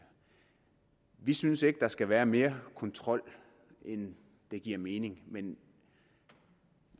vi synes ikke at der skal være mere kontrol end det giver mening men